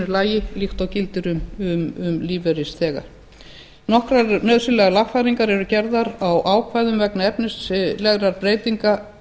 lagi líkt og gildir um lífeyrisþega nokkrar nauðsynlegar lagfæringar eru gerðar á ákvæðum vegna efnislegra breytinga